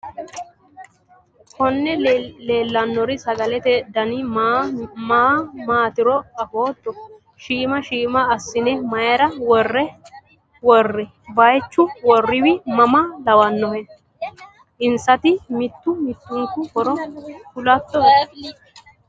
Konne leellanori sagalete dani maa maatiro afootto? Shiima shiima assine mayiira worri? Bayiichu worroyiwi mama lawannoe? Insati mittu mittunku horo kulatto'e?